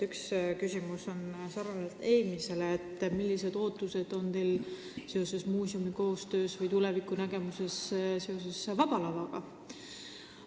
Üks küsimus on, millised ootused on teil muuseumi tulevikku silmas pidades seotud Vaba Lavaga.